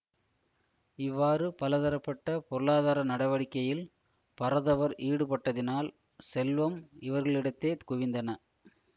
இவ்வாறு பலதரப்பட்ட பொருளாதார நடவடிக்கையில் பரதவர் ஈடுபட்டதினால் செல்வம் இவர்களிடத்தே குவிந்தன